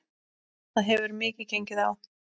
Það hefur mikið gengið á.